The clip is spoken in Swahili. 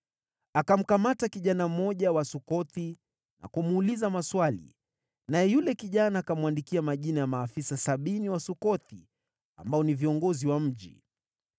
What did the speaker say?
Akamkamata kijana mmoja wa Sukothi na kumuuliza maswali, naye yule kijana akamwandikia majina ya maafisa sabini wa Sukothi, ambao ni viongozi wa mji.